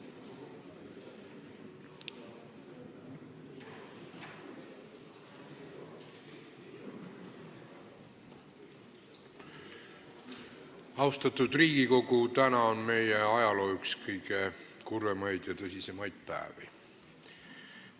Austatud Riigikogu, tänane kuupäev on meie ajaloo üks kõige kurvemaid ja tõsisemaid päevi.